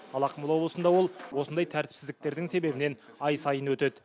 ал ақмола облысында ол осындай тәртіпсіздіктердің себебінен ай сайын өтеді